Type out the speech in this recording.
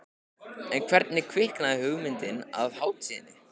En hvernig kviknaði hugmyndin að hátíðinni?